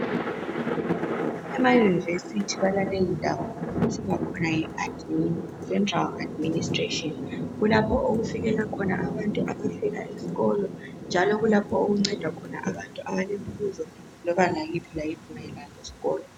Emayunivesithi balaleyindawo okuthiwa khona yiadiministretion kulapho okufikela khona abantu abafika esikolo njalo kulapho okuncedwa khona abantu abalembuzo loba layiphi layiphi mayelana lesikolo.